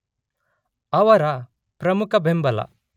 ಅವರ ಪ್ರಮುಖ ಬೆಂಬಲ